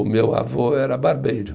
O meu avô era barbeiro.